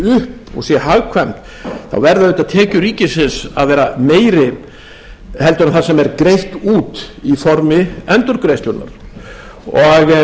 upp og sé hagkvæmt þá verða auðvitað tekjur ríkisins að vera meiri heldur en það sem er greitt út í formi endurgreiðslunnar og